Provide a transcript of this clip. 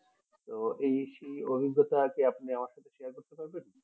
তো এই সেই অভিজ্ঞাতা কি আপনি আমার সাথে share করতে পারবেন